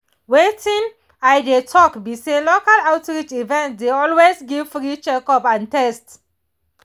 wetin i dey talk be say local outreach events dey always give free checkup and test